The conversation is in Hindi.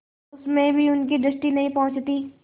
उसमें भी उनकी दृष्टि नहीं पहुँचती